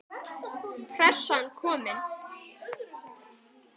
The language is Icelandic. Pressan komin.